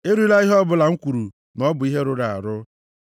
Erila ihe ọbụla m kwuru na ọ bụ ihe rụrụ arụ.